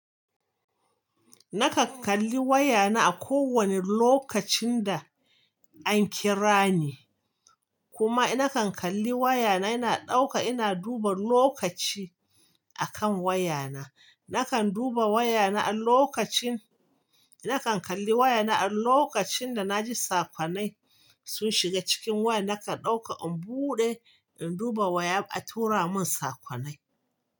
Nakan kalli wayana a kowane lokacin da an kira ni, kuma nakan kalli wayana ina ɗauka ina duba lokaci akan wayana. Nakan duba wayana a lokacin, nakan kalli wayana a lokacin da na ji sakonai sun shiga cikin waya nakan ɗauka in buɗe in duba waya a tura mun sakonai.